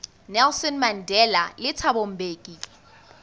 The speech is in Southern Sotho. nelson mandela le thabo mbeki